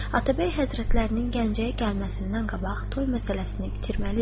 Atabəy həzrətlərinin Gəncəyə gəlməsindən qabaq toy məsələsini bitirməliyik.